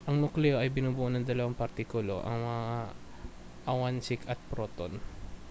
ang nukleo ay binubuo ng dalawang partikulo ang mga awansik at proton